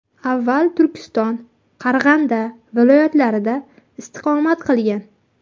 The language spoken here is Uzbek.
Avval Turkiston, Qarag‘anda viloyatlarida istiqomat qilgan.